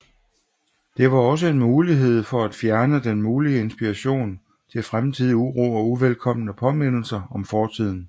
Det var også en mulighed for at fjerne den mulige inspiration til fremtidig uro og uvelkomne påmindelser om fortiden